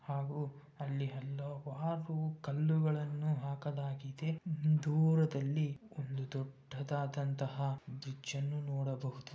ಹಾಗೂ ಅಲ್ಲಿ ಹಲವಾರು ಕಲ್ಲುಗಳನ್ನು ಹಾಕಲಾಗಿದೆ. ದೂರದಲ್ಲಿಒಂದು ದೊಡ್ಡದಾದಂತಹ ಬ್ರಿಡ್ಜ್ ಅನ್ನು ನೋಡಬಹುದು.